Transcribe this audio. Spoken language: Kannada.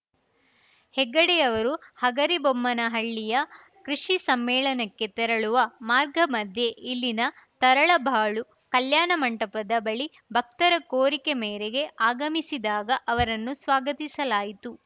ಹೆಗ್ಗಡೆಯವರು ಹಗರಿಬೊಮ್ಮನಹಳ್ಳಿಯ ಕೃಷಿ ಸಮ್ಮೇಳನಕ್ಕೆ ತೆರಳುವ ಮಾರ್ಗ ಮಧ್ಯೆ ಇಲ್ಲಿನ ತರಳಬಾಳು ಕಲ್ಯಾಣ ಮಂಟಪದ ಬಳಿ ಭಕ್ತರ ಕೋರಿಕೆ ಮೇರೇಗೆ ಆಗಮಿಸಿದಾಗ ಅವರನ್ನು ಸ್ವಾಗತಿಸಲಾಯಿತು